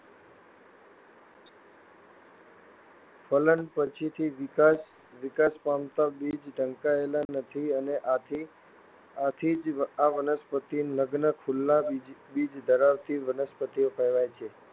ફલન પછીથી વિકાસ પામતા બીજ ઢંકાયેલા નથી અને આથી જ આ વનસ્પતિઓ નગ્ન ખુલ્લા બીજ ધરાવતી વનસ્પતિઓ કહેવાય છે.